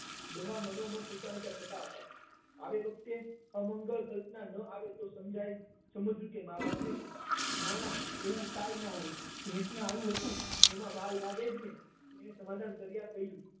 ડોહા માનો મન ઊંચા નીચા થતા હતા આ વખતે કોઈ અમંગલ સમસ્યા ન આવે તો સમજ્યા સમજવું કે માં બાપ નહી ના ના એવું કઈ ન હોય એને આવું હતું પણ એમાં વાર તો લાગે જ ને મેં સમાધાન કરતા કહ્યું